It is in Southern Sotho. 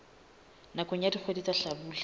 nakong ya dikgwedi tsa hlabula